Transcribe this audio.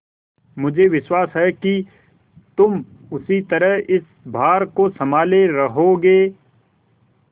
मुझे विश्वास है कि तुम उसी तरह इस भार को सँभाले रहोगे